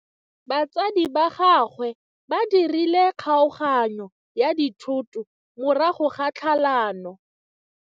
Batsadi ba gagwe ba dirile kgaoganyô ya dithoto morago ga tlhalanô.